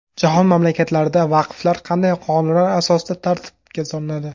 Jahon mamlakatlarida vaqflar qanday qonunlar asosida tartibga solinadi?.